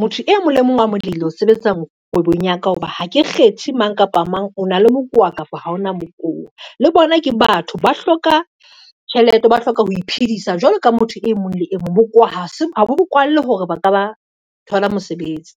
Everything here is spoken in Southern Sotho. motho e mong le mong wa molehile ho sebetsang kgwebong ya ka, ho ba ha ke kgethe mang kapa mang o na le mokowa kapa ho ona mokowa. Le bona ke batho ba hloka tjhelete, ba hloka ho iphedisa jwalo ka motho e mong le e mong, bokowa ha bo kwallwe hore ba ka ba thola mosebetsi.